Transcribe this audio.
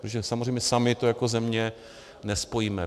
Protože samozřejmě sami to jako země nespojíme.